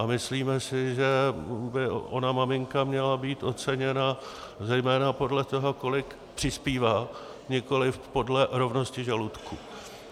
A myslíme si, že by ona maminka měla být oceněna zejména podle toho, kolik přispívá, nikoli podle rovnosti žaludku.